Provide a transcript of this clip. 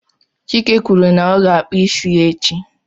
Chike kwuru na ọ ga-akpụ isi ya echi